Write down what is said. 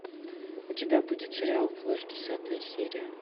у тебя будет сериал флэш десятая серия